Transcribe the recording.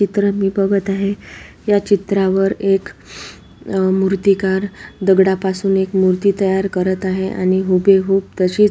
चित्र मी बगत आहे या चित्रावर एक आ मूर्तिकार दगडापासून एक मूर्ति तयार करत आहे आणि हूबेहुब तशीच --